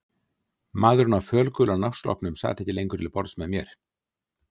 Maðurinn á fölgula náttsloppnum sat ekki lengur til borðs með mér.